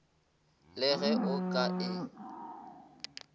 le ge o ka e